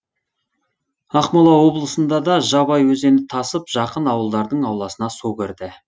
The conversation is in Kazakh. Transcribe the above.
ақмола облысында да жабай өзені тасып жақын ауылдардың ауласына су кірді